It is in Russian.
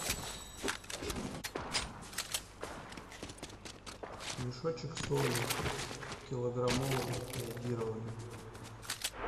мешочек соли килограммовый йодированной